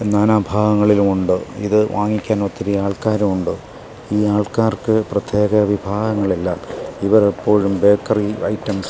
നാനാഭാഗങ്ങളിലും ഉണ്ട് ഇതു വാങ്ങിക്കാൻ ഒത്തിരി ആൾക്കാരും ഉണ്ട് ഈ ആൾക്കാർക്ക് പ്രത്യേക വിഭാഗങ്ങൾ ഇല്ല ഇവർ എപ്പോഴും ബേക്കറി ഐറ്റംസ് --